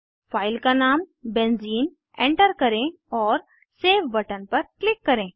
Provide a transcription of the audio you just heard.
file का नाम benzene enter करें और सेव बटन पर क्लिक करें